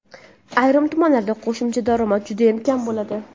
ayrim tumanlarda qo‘shimcha daromad judayam kam bo‘ladi.